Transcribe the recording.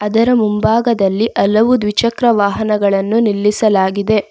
ಇದರ ಮುಂಭಾಗದಲ್ಲಿ ಹಲವಾರು ದ್ವಿಚಕ್ರ ವಾಹನಗಳು ನಿಲ್ಲಿಸಲಾಗಿದೆ.